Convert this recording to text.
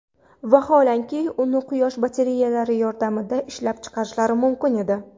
Vaholanki uni quyosh batareyalari yordamida ishlab chiqarishlari mumkin edi.